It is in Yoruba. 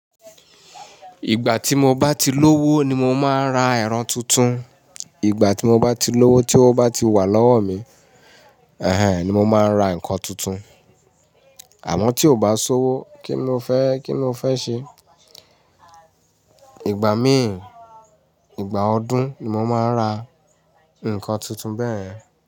Ìgbà tí mo bá ti lówó ni mo máa ń ra ẹ̀rọ tuntun. Ìgbà tí mo bá ti lówó tí ó bá ti wà lọ́wọ́ mi, ẹhn, ni mo máa ń ra nǹkan tuntun. Àmọ́ tí ò bá sí owó, kíni mo fẹ́, kíni mo fẹ́ ṣe? Ìgbà míì, ìgbà ọdún ni mo máa ń ra nǹkan tuntun bẹ́ẹ̀.